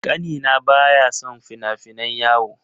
Ƙanina baya son fina-finan yawo.